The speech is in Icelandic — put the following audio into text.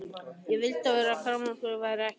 Ég vildi að þessir krakkaormar væru ekki til.